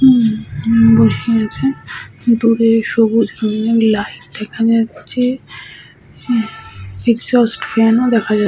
উম হুম বসে আছে। দূরে সবুজ রংয়ের এখানে হচ্ছে হু একজস্ট ফ্যানও দেখা যা--